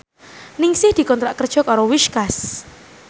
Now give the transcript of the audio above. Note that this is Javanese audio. Ningsih dikontrak kerja karo Whiskas